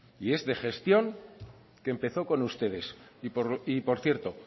y es de gestión que empezó con ustedes y por cierto